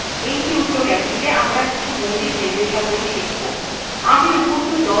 in টিউটোরিয়ালেটিতে আমরা কিছু মৌলিক র্নিদেশাবলী শিখব